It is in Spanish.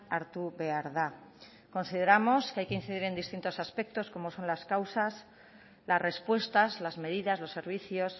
hartu behar da consideramos que hay que incidir en distintos aspectos como son las causas las respuestas las medidas los servicios